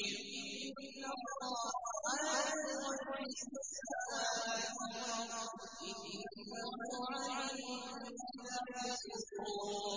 إِنَّ اللَّهَ عَالِمُ غَيْبِ السَّمَاوَاتِ وَالْأَرْضِ ۚ إِنَّهُ عَلِيمٌ بِذَاتِ الصُّدُورِ